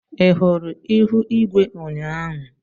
Ị hụrụ ihu igwe ụnyaahụ?